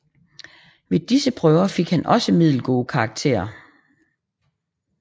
Ved disse prøver fik han også middelgode karakterer